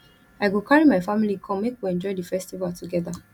i go carry my family come make we enjoy di festival together